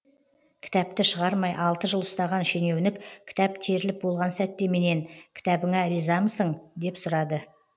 кітапты шығармай алты жыл ұстаған шенеунік кітап теріліп болған сәтте менен кітабыңа ризамысың деп сұрады